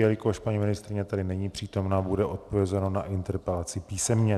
Jelikož paní ministryně tady není přítomna, bude odpovězeno na interpelaci písemně.